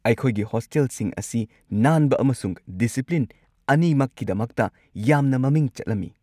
ꯑꯩꯈꯣꯏꯒꯤ ꯍꯣꯁꯇꯦꯜꯁꯤꯡ ꯑꯁꯤ ꯅꯥꯟꯕ ꯑꯃꯁꯨꯡ ꯗꯤꯁꯤꯄ꯭ꯂꯤꯟ ꯑꯅꯤꯃꯛꯀꯤꯗꯃꯛꯇ ꯌꯥꯝꯅ ꯃꯃꯤꯡ ꯆꯠꯂꯝꯃꯤ꯫